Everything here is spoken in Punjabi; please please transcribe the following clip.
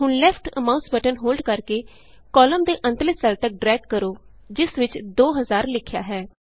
ਹੁਣ ਲੈਫਟ ਮਾਉਸ ਬਟਨ ਹੋਲਡ ਕਰਕੇ ਕਾਲਮ ਦੇ ਅੰਤਲੇ ਸੈੱਲ ਤਕ ਡਰੈਗ ਕਰੋ ਜਿਸ ਵਿਚ 2000ਲਿਖਿਆ ਹੈ